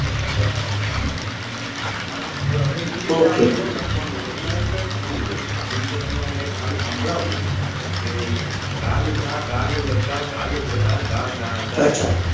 તો હવે એ રીતે આપડે લખવા નું હોય તો એના એક છંદ હોય જેમ કે તને હું એક સંભાળવું કે ગાલગા ગાલ લગા ગાલ લગા ગાલ લગા ગા ગા ગા